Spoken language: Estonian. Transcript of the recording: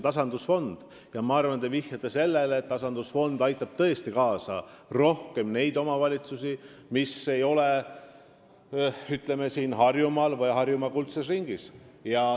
Te vist vihjasite sellele, et tasandusfond aitab tõesti rohkem neid omavalitsusi, mis ei asu Harjumaal või Harjumaa kuldses ringis.